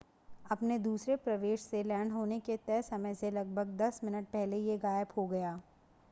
अपने दूसरे प्रवेश से लैंड होने के तय समय से लगभग दस मिनट पहले यह गायब हो गया